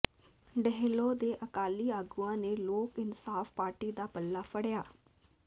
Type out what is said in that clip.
ਡੇਹਲੋਂ ਦੇ ਅਕਾਲੀ ਆਗੂਆਂ ਨੇ ਲੋਕ ਇਨਸਾਫ਼ ਪਾਰਟੀ ਦਾ ਪੱਲਾ ਫੜਿ੍ਹਆ